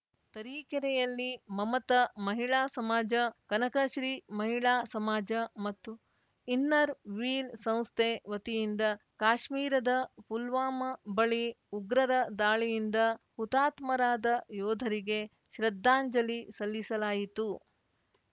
ತರೀಕೆರೆಯಲ್ಲಿ ಮಮತ ಮಹಿಳಾ ಸಮಾಜ ಕನಕಶ್ರೀ ಮಹಿಳಾ ಸಮಾಜ ಮತ್ತು ಇನ್ನರ್‌ವೀಲ್‌ ಸಂಸ್ಥೆ ವತಿಯಿಂದ ಕಾಶ್ಮೀರದ ಪುಲ್ವಾಮ ಬಳಿ ಉಗ್ರರ ದಾಳಿಯಿಂದ ಹುತಾತ್ಮರಾದ ಯೋಧರಿಗೆ ಶ್ರದ್ಧಾಂಜಲಿ ಸಲ್ಲಿಸಲಾಯಿತು